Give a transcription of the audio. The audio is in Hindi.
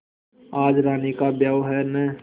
आज रानी का ब्याह है न